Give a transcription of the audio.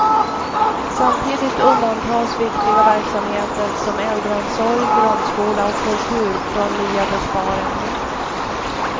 Samtidigt undantas viktiga verksamheter som äldreomsorg, grundskola och kultur från nya besparingar.